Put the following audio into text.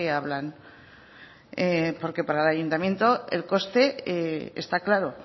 hablan porque para el ayuntamiento el coste está claro